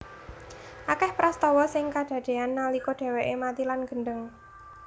Akeh prastawa sing kadadean nalika dheweke mati lan gendheng